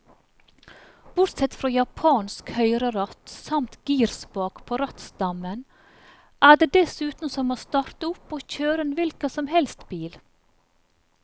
Bortsett fra japansk høyreratt samt girspak på rattstammen, er det dessuten som å starte opp og kjøre en hvilken som helst bil.